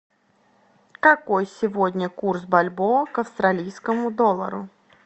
какой сегодня курс бальбоа к австралийскому доллару